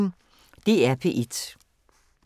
DR P1